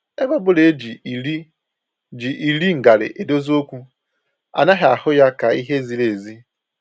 Ebe ọbụla e ji iri ji iri ngarị edozi okwu, anaghị ahụ ya ka ihe ziri ezi